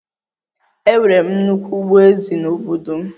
Enwere m nnukwu ugbo ezì n'obodo m